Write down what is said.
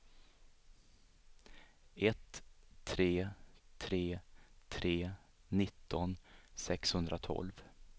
ett tre tre tre nitton sexhundratolv